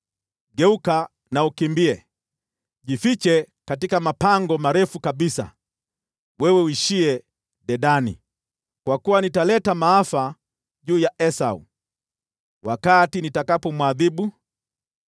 Geuka na ukimbie, jifiche katika mapango marefu kabisa, wewe uishiye Dedani, kwa kuwa nitaleta maafa juu ya Esau wakati nitakapomwadhibu.